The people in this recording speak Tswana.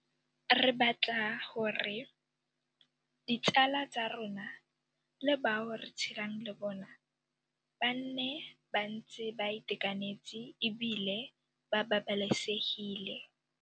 Re batla gore ditsala tsa rona le bao re tshelang le bona ba nne ba ntse ba itekanetse e bile ba babalesegile.